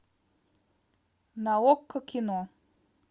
на окко кино